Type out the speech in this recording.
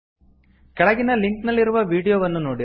ಕೆಳಗಿನ ಲಿಂಕ್ ನಲ್ಲಿರುವ ವೀಡಿಯೋವನ್ನು ನೋಡಿರಿ